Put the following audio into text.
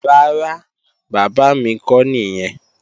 Rárá, bàbá mi kọ́ nìyẹn